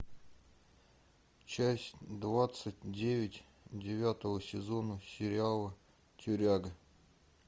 часть двадцать девять девятого сезона сериала тюряга